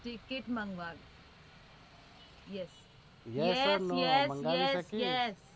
ticket yes મંગાવીશ